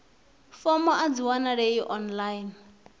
fomo a dzi wanalei online